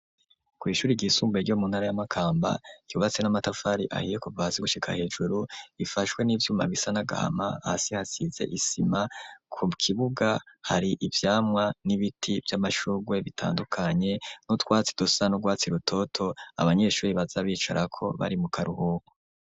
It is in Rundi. Kw'Ishure ry'isumbuye ryo muntara ya Makamba, ryubatse n'amatafari ahiye, kuva hasi gushika hejuru , ,ifashwe n'ivyuma bisa na gahama, hasi hasize isima, ku kibuga hari ivyamwa n'ibiti vy'amashugwe bitandukanye, n'utwatsi dusa nurwatsi rutoto, Abanyeshuri baza bicarako, bari mu karuhuho.